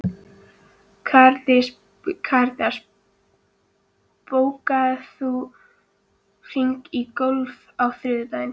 Karitas, bókaðu hring í golf á þriðjudaginn.